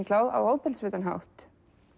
á ofbeldisfullan hátt